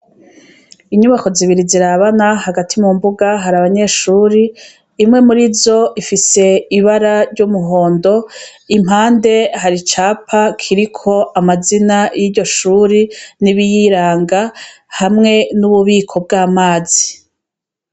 Inyubako zibiri zirabana hagati mu mbuga hari abanyeshuri imwe muri zo ifise ibara ry'umuhondo impande hari icapa kiriko amazina y'iryo shuri nibiyiranga hamwe n'ububiko bw'amazi.